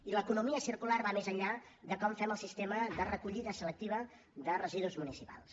i l’economia circular va més enllà de com fem el sistema de recollida selectiva de residus municipals